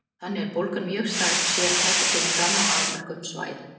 Þannig er bólgan mjög sértæk og kemur fram á afmörkuðum svæðum.